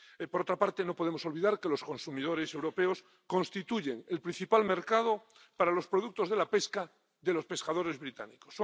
Por otra parte, no podemos olvidar que los consumidores europeos constituyen el principal mercado para los productos de la pesca de los pescadores británicos.